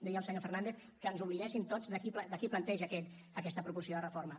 deia el senyor fernández que ens oblidéssim tots de qui planteja aquesta proposició de reforma